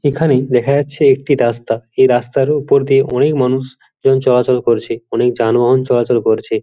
এখানেই দেখা যাচ্ছে একটি রাস্তা এই রাস্তার উপর দিয়ে অনেক মানুষ জন চলাচল করছে অনেক যানবাহন চলাচল করছে।